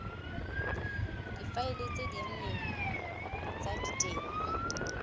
difaele tse dinnye tsa diteng